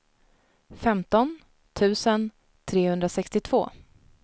femton tusen trehundrasextiotvå